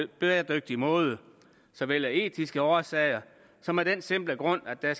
bæredygtig måde så vel af etiske årsager som af den simple grund at der